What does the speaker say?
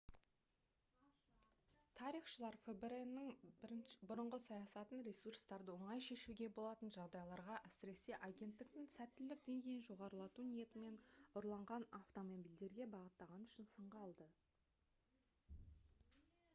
тарихшылар фбр-нің бұрынғы саясатын ресурстарды оңай шешуге болатын жағдайларға әсіресе агенттіктің сәттілік деңгейін жоғарылату ниетімен ұрланған автомобильдерге бағыттағаны үшін сынға алды